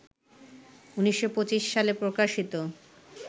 ১৯২৫ সালে প্রকাশিত